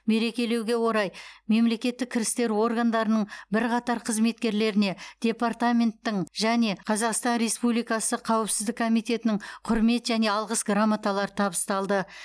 мерекелеуге орай мемлекеттік кірістер органдарының бірқатар қызметкерлеріне департаменттің және қазақстан республикасы қауіпсіздік комитетінің құрмет және алғыс грамоталары табысталды